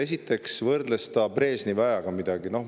Esiteks võrdles ta midagi Brežnevi ajaga.